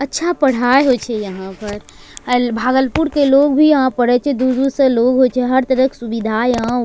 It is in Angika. अच्छा पढ़ाय होय छे यहां पर आयल भागलपुर के लोग भी यहां पढ़े छे दूर-दूर से लोग होय छे हर तरह क सुबिधा यहां --